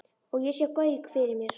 Og ég sá Gauk fyrir mér.